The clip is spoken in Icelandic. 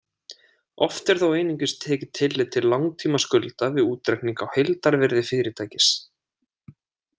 Oft er þó einungis tekið tillit til langtímaskulda við útreikning á heildarvirði fyrirtækis.